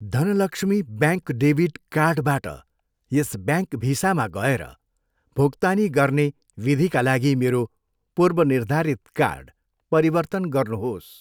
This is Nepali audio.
धनलक्ष्मी ब्याङ्क डेबिट कार्डबाट यस ब्याङ्क भिसामा गएर भुक्तानी गर्ने विधिका लागि मेरो पूर्वनिर्धारित कार्ड परिवर्तन गर्नुहोस्।